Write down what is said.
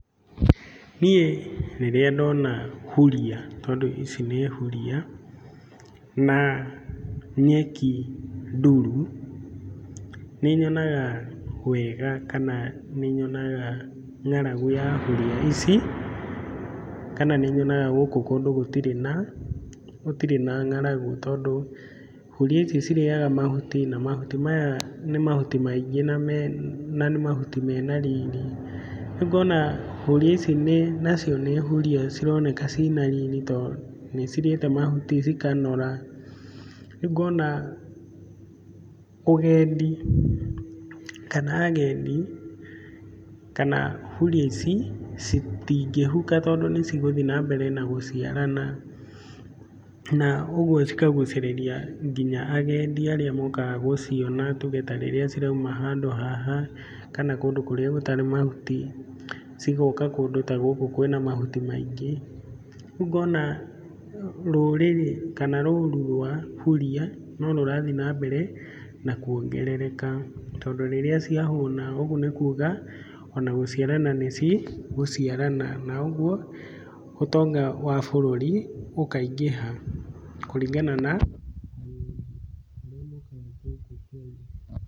Niĩ rĩrĩa ndona huria tondũ ici nĩ huria, na nyeki nduru, nĩ nyonaga wega kana nĩ nyonaga ng'aragu ya huria ici kana nĩ nyonaga gũkũ kũndũ gũtirĩ na ng'aragu tondũ huria ici cirĩaga mahuti na mahuti maya nĩ mahuti maingĩ na mahuti mena riri, rĩu ngona huria ici nacio nĩ huria cironeka ciĩna riri tondũ nĩcirĩte mahuti cikanora, rĩu ngona ũgendi kana agendi kana huria ici citingĩhuka tondũ nĩ cigũthiĩ na mbere na gũciarana na ũguo cikagucĩrĩrĩa nginya agendi arĩa mokaga gũciona, tuge ta rĩrĩa cirauma handũ haha kana kũndũ kũrĩa gũtarĩ mahuti, cigoka kũndũ ta gũkũ kwĩna mahuti maingĩ, ríu ngona rũrĩrĩ kana roru rwa huria no rũrathiĩ na mbere na kuongerereka tondũ rĩrĩa ciahũna, ũguo nĩ kuga ona gũciarana nĩ cigũciarana na ũguo ũtonga wa bũrũri ũkaingĩha kũringana na agendi arĩa mokaga gũkũ bũrũri.